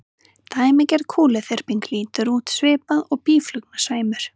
Dæmigerð kúluþyrping lítur út svipað og býflugnasveimur.